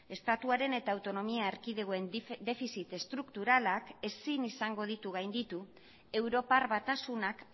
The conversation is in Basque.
estatuaren eta autonomia erkidegoen defizit estrukturalak ezin izango ditu gainditu europar batasunak